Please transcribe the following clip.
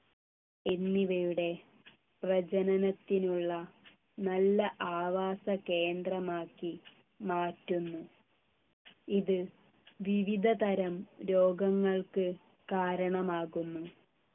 എന്നിവയുടെ പ്രജനനത്തിനുള്ള നല്ല ആവാസ കേന്ദ്രമാക്കി മാറ്റുന്നു ഇത് വിവിധതരം രോഗങ്ങൾക്ക് കാരണമാകുന്നു